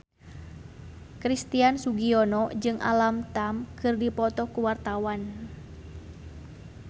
Christian Sugiono jeung Alam Tam keur dipoto ku wartawan